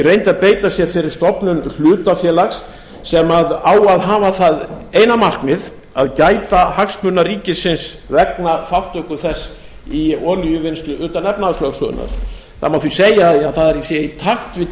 að beita sér fyrir stofnun hlutafélags sem á að hafa það eina markmið að gæta hagsmuna ríkisins vegna þátttöku þess í olíuvinnslu utan efnahagslögsögunnar það má því segja að það sé í takt við